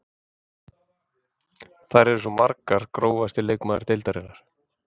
Þær eru svo margar Grófasti leikmaður deildarinnar?